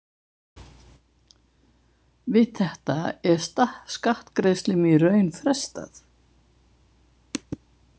Við þetta er skattgreiðslum í raun frestað.